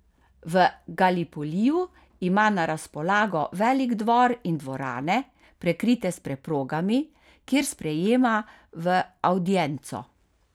V Galipoliju ima na razpolago velik dvor in dvorane, prekrite s preprogami, kjer sprejema v avdienco.